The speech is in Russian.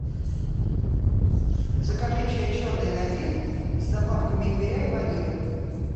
закажи чай черный надин с добавками имбиря и ванили